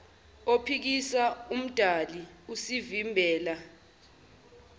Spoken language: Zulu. ophikisa owomdali usivimbela